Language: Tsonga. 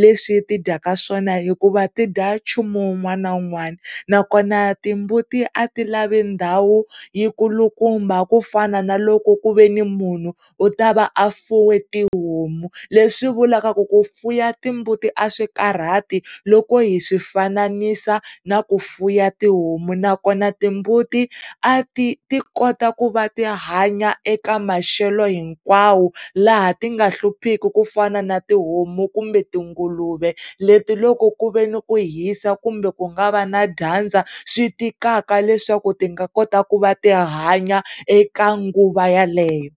leswi ti dyaka swona hikuva ti dya nchumu wun'wana na wun'wana na kona timbuti a ti lavi ndhawu yi nkulukumba ku fana na loko ku ve ni munhu u ta va a fuye tihomu leswi vulavula ku fuya timbuti a swi karhati loko hi swifanisa na ku fuya tihomu na kona timbuti a ti, tiko kota ku va tihanya eka maxelo hinkwawo laha ti nga hluphiki ku fana na tihomu kumbe ti nguluve leti loko ku ve ni ku hisa kumbe ku nga va na dyandza swi tikaka leswaku ti nga kota ku hanya eka nguva yeleyo.